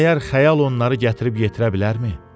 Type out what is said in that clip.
Məyər xəyal onları gətirib yetirə bilərmi?